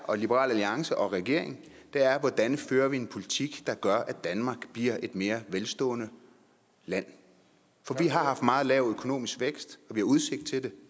og liberal alliance og regeringen er hvordan vi fører en politik der gør at danmark bliver et mere velstående land for vi har haft meget lav økonomisk vækst og vi har udsigt til det